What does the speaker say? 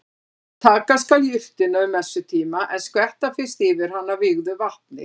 Taka skal jurtina um messutíma en skvetta fyrst yfir hana vígðu vatni.